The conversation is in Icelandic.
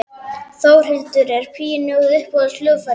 Þórhildur: Er píanóið uppáhalds hljóðfærið þitt?